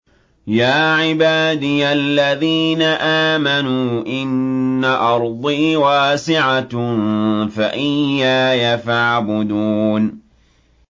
يَا عِبَادِيَ الَّذِينَ آمَنُوا إِنَّ أَرْضِي وَاسِعَةٌ فَإِيَّايَ فَاعْبُدُونِ